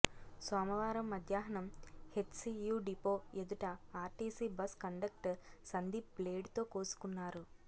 సోమవారం మధ్యాహ్నం HCU depot ఎదుట ఆర్టీసీ బస్ కండక్టర్ సందీప్ బ్లేడుతో కోసుకున్నారు